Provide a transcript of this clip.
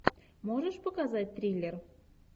можешь показать триллер